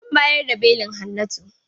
An bayar da belin Hannatu.